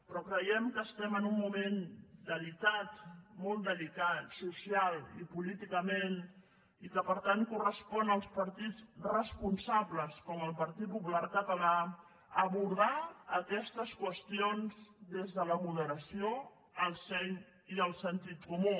però creiem que estem en un moment delicat molt delicat socialment i políticament i que per tant correspon als partits responsables com el partit popular català abordar aquestes qüestions des de la moderació el seny i el sentit comú